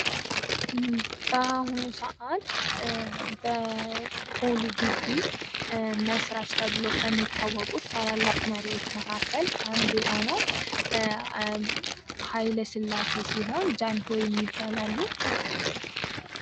ባሁኑ ሰዓት በፖሊ ግቢ መስራች ተብለው ከሚታወቁት ታላላቅ መሪዎች መካከል አንዱ የሆነው ሃይለ ስላሴ ሲሆን ጃንሆይም ይባላሉ።